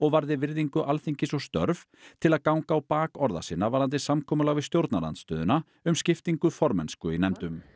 varði virðingu Alþingis og störf til að ganga á bak orða sinna varðandi samkomulag við stjórnarandstöðuna um skiptingu formennsku í nefndum